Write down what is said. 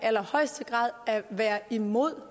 imod